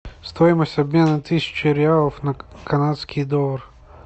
стоимость обмена тысячи реалов на канадский доллар